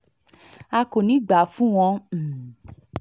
a kò ní í gbà fún wọn um